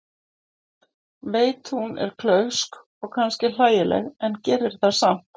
Veit að hún er klaufsk og kannski hlægileg en gerir það samt.